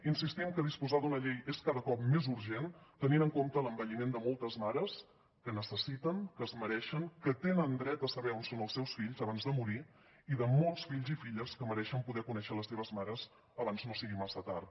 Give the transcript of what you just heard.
insistim que disposar d’una llei és cada cop més urgent tenint en compte l’envelliment de moltes mares que necessiten que es mereixen que tenen dret a saber on són els seus fills abans de morir i de molts fills i filles que mereixen poder conèixer les seves mares abans no sigui massa tard